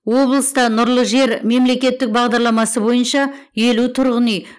облыста нұрлы жер мемлекеттік бағдарламасы бойынша елу тұрғын үй